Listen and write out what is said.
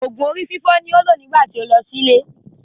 Òògùn orí fífọ́ ni ó lò nígbà tí ó lọ sí ilé.